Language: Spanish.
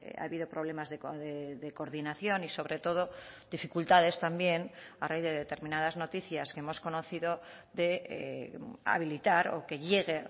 ha habido problemas de coordinación y sobre todo dificultades también a raíz de determinadas noticias que hemos conocido de habilitar o que llegue